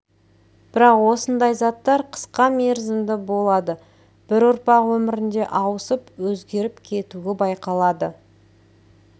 бірақ осындай заттар қысқа мерзімді болады бір ұрпақ өмірінде ауысып өзгеріп кетуі байқалады